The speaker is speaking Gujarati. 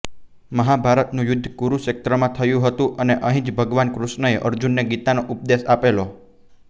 મહાભારતનું યુદ્ધ કુરુક્ષેત્રમાં થયું હતું અને અહીં જ ભગવાન કૃષ્ણએ અર્જુનને ગીતાનો ઉપદેશ આપેલો